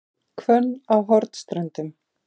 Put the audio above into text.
Hvönn á Hornströndum